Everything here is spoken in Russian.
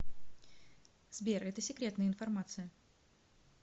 сбер это секретная информация